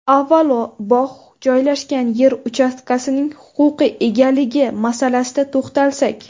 Avvalo, bog‘ joylashgan yer uchastkasining huquqiy egaligi masalasiga to‘xtalsak.